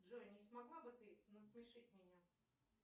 джой не смогла бы ты насмешить меня